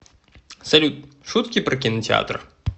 салют шутки про кинотеатр